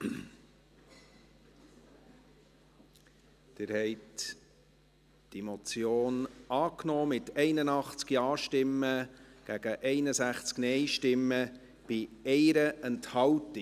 Sie haben diese Motion angenommen, mit 81 Ja- zu 61 Nein-Stimmen bei 1 Enthaltung.